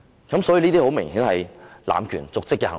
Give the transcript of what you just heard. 這些很明顯是濫權瀆職的行為。